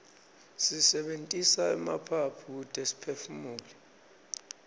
sisebentisa emaphaphu kute siphefumule